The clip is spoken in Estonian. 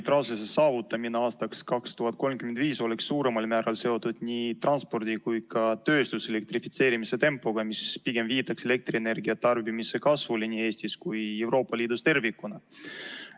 Kliimaneutraalsuse saavutamine aastaks 2035 on suuremal määral seotud nii transpordi kui ka tööstuse elektrifitseerimise tempoga, mis pigem viitab elektrienergia tarbimise kasvule nii Eestis kui Euroopa Liidus tervikuna.